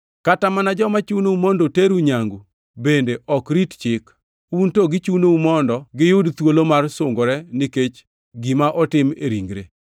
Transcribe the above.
Kata mana joma chunou mondo teru nyangu bende ok rit chik. Un to gichunou mondo giyud thuolo mar sungore nikech gima otim e ringre.